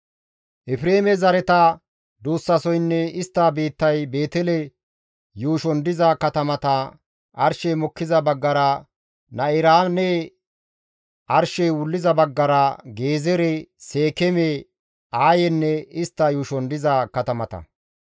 Efreeme zareta duussasoynne istta biittay Beetele yuushon diza katamata, arshey mokkiza baggara Na7iraane, arshey wulliza baggara Gezeere, Seekeeme, Aayenne istta yuushon diza katamata.